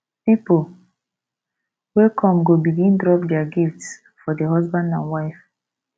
pipol wey kom go begin drop dia gifts for di husband and wife